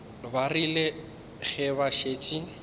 ba rile ge ba šetše